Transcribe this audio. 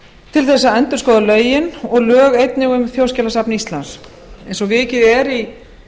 til þess að endurskoða lögin og lög einnig um þjóðskjalasafn íslands eins og vikið er að í